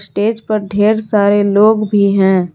Stage पर ढेर सारे लोग भी हैं।